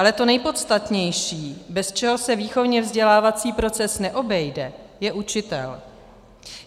Ale to nejpodstatnější, bez čeho se výchovně-vzdělávací proces neobejde, je učitel.